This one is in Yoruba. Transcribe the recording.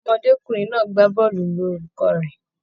Ọmọdékunrin náà gbà bọọlu lù olùkọ rẹ.